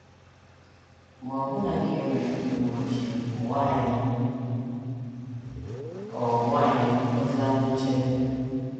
Ma ọbụna ka e nwere ndị uwe ojii, ụwa anyị ọ̀ ụwa anyị ọ̀ dịlanụ nchebe?